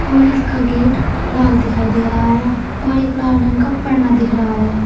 और इसका गेट लाल दिखाई दे रहा है और एक लाल रंग का पैना दिख रहा है।